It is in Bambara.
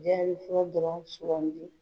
dɔrɔn sɔrɔmu don